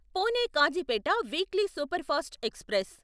Pune Kazipet weekly superfast express